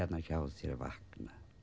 hjá þér vakna